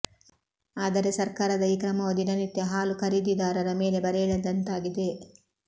ಆದರೆ ಸರ್ಕಾರದ ಈ ಕ್ರಮವು ದಿನ ನಿತ್ಯ ಹಾಲು ಖರೀದಿದಾರರ ಮೇಲೆ ಬರೆ ಎಳೆದಂತಾಗಿದೆ